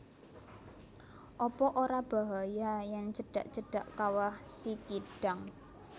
Apa ora bahaya yen cedak cedak Kawah Sikidang